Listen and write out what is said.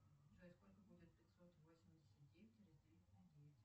джой сколько будет пятьсот восемьдесят девять разделить на девять